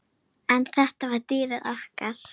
En þetta var dýrið okkar.